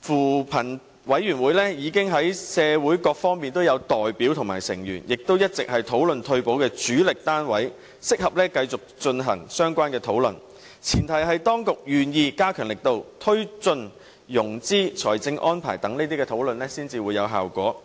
扶貧委員會內已有社會各方面的代表和成員，亦一直是討論退休保障的主力單位，所以適合繼續進行相關的討論，但前提是當局願意加強力度，推進融資、財政安排等討論，才會有效果。